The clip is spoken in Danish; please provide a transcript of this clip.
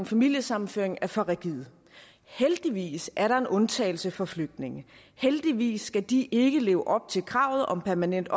familiesammenføring er for rigide heldigvis er der en undtagelse for flygtninge heldigvis skal de ikke leve op til kravet om permanent